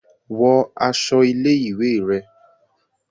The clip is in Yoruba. Wọ aṣọ ilé-ìwé rẹ!